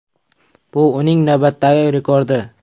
Bu uning navbatdagi rekordi.